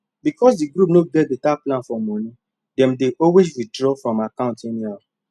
because di group no get better plan for money dem dey always withdraw from account anyhow